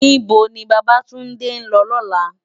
Nibó ni Babatunde n lò lòlá?